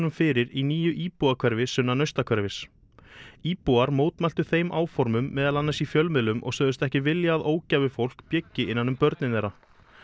fyrir í nýju íbúðahverfi sunnan Naustahverfis íbúar mótmæltu þeim áformum meðal annars í fjölmiðlum og sögðust ekki vilja að ógæfufólk byggi innan um börnin þeirra